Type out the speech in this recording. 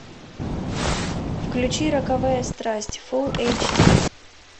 включи роковая страсть фул эйч ди